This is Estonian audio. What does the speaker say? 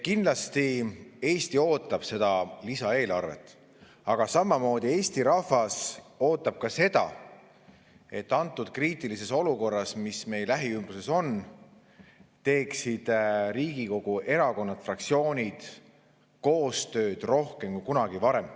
Kindlasti Eesti ootab seda lisaeelarvet, aga samamoodi ootab Eesti rahvas ka seda, et antud kriitilises olukorras, mis meil lähiümbruses on, teeksid Riigikogu erakonnad, Riigikogu fraktsioonid koostööd rohkem kui kunagi varem.